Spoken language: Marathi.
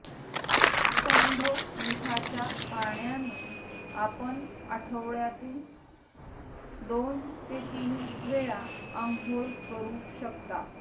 सैंधव मिठाच्या पाण्याने आपण आठवड्यातून दोन ते तीन वेळा आंघोळ करू शकता